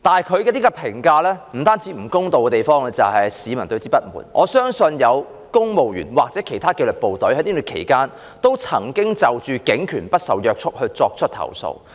她這項評價不公道，不單引起市民不滿，我相信亦有公務員或其他紀律部隊曾在這段期間就警權不受約束作出投訴。